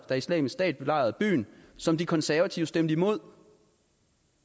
da islamisk stat belejrede byen som de konservative stemte imod